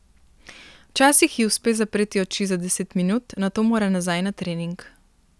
Včasih ji uspe zapreti oči za deset minut, nato mora nazaj na trening.